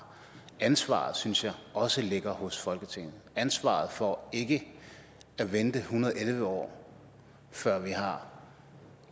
ansvaret synes jeg også ligger hos folketinget ansvaret for ikke at vente en hundrede og elleve år før vi har